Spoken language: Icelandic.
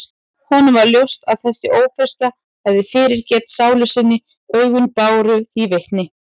Honum varð ljóst að þessi ófreskja hafði fyrirgert sálu sinni, augun báru því vitni.